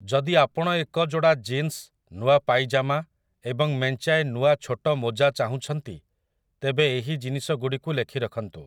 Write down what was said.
ଯଦି ଆପଣ ଏକ ଯୋଡ଼ା ଜିନ୍ସ, ନୂଆ ପାଇଜାମା, ଏବଂ ମେଞ୍ଚାଏ ନୂଆ ଛୋଟ ମୋଜା ଚାହୁଁଛନ୍ତି, ତେବେ ଏହି ଜିନିଷଗୁଡ଼ିକୁ ଲେଖି ରଖନ୍ତୁ ।